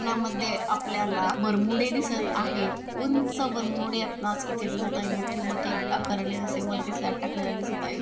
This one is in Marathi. यामध्ये आपल्याला बरमुडे दिसत आहेत उंच बरमुडे आपणास दिसत आहेत मोठे मोठे आकाराने असे वरती स्लॅब टाकलेले दिसत आहे.